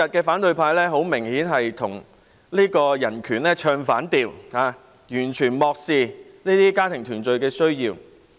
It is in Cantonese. "反對派今天很明顯與人權唱反調，完全漠視家庭團聚的需要。